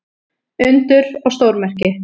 Undur og stórmerki.